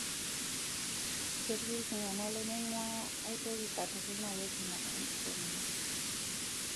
Ketii iltungana lemeinguaya aiyoki katukul naa keji ina anosmia.